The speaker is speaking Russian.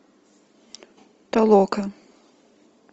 толока